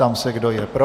Ptám se, kdo je pro.